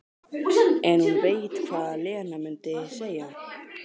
En hún veit hvað Lena mundi segja.